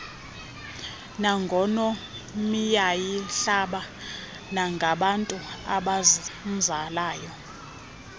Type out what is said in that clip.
nangonkomiyahlaba nangabantu abamzalayo